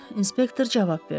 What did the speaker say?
Inspektor cavab verdi.